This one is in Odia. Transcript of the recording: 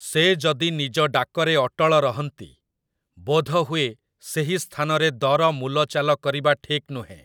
ସେ ଯଦି ନିଜ ଡାକରେ ଅଟଳ ରହନ୍ତି, ବୋଧହୁଏ ସେହି ସ୍ଥାନରେ ଦର ମୂଲଚାଲ କରିବା ଠିକ୍ ନୁହେଁ ।